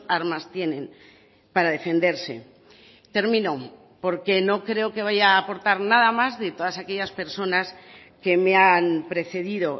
armas tienen para defenderse termino porque no creo que vaya a aportar nada más de todas aquellas personas que me han precedido